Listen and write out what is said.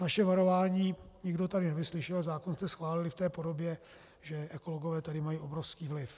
Naše varování nikdo tady nevyslyšel, zákon jste schválili v té podobě, že ekologové tady mají obrovský vliv.